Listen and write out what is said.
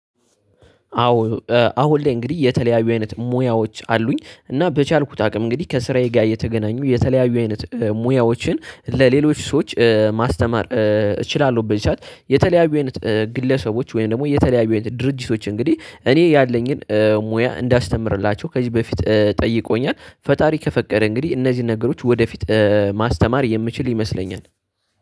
አዎ አሁን ላይ እንግዲህ የተለያዩ አይነት ሙያዎች አሉኝ እና በቻልኩት አቅም እንግዲህ ከስራዬ ጋር እየተገናኙ የተለያዩ አይነት ሙያዎችን ለሌሎች ሰዎች ማስተማር እችላለሁ። በዚህ ሰዓት የተለያዩ ግለሰቦች ወይም ደግሞ የተለያዩ አይነት ድርጅቶች እንግዲህ እኔ ያለኝን ሙያ እንዳስተምርላቸው ከዚህ በፊት ጠይቆኛል። ፈጣሪ ከፈቀደ እንግዲህ እነዚህ ነገሮች ወደፊት ማስተማር የምችል ይመስለኛል።